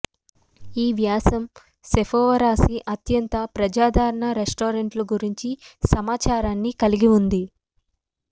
ఈ వ్యాసం సేపోవరాశి అత్యంత ప్రజాదరణ రెస్టారెంట్లు గురించి సమాచారాన్ని కలిగి ఉంది